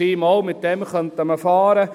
«Doch, mit dem könnten wir fahren.